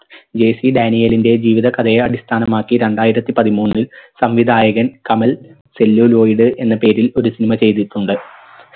JC ഡാനിയേലിൻറെ ജീവിത കഥയെ അടിസ്ഥാനമാക്കി രണ്ടായിരത്തി പതിമൂന്നിൽ സംവിധായകൻ കമൽ celluloid എന്ന പേരിൽ ഒരു cinema ചെയ്തിട്ടുണ്ട്